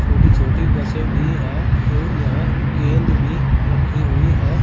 छोटी छोटी बसें भी है और यहां गेंद भी रखी हुई है।